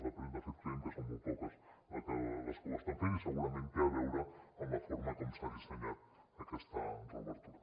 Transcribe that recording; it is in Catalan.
de fet creiem que són molt poques les que ho estan fent i segurament té a veure amb la forma com s’ha dissenyat aquesta reobertura